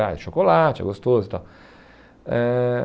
Ah, é chocolate, é gostoso e tal. Eh